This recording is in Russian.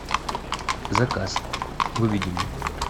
заказ выведи мне